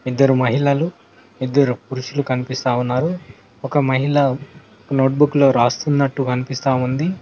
ఇద్దరు మహిళలు ఇద్దరు పురుషులు కనిపిస్తావున్నారు ఒక మహిళ నోట్ బుక్ లో రాస్తున్నట్టు కనిపిస్తా ఉంది.